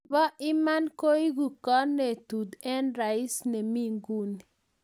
Nebo iman ko egu konetut eng Rais nemi nguni